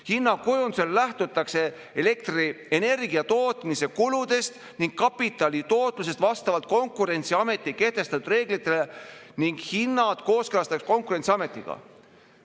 Hinnakujundusel lähtutakse elektrienergia tootmise kuludest ning kapitali tootlusest vastavalt Konkurentsiameti kehtestatud reeglitele ning hinnad kooskõlastatakse Konkurentsiametiga.